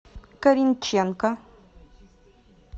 коринченко